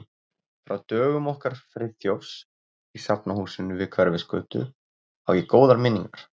Frá dögum okkar Friðþjófs í Safnahúsinu við Hverfisgötu á ég góðar minningar.